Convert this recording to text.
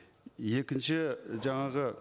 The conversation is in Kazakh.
екінші жаңағы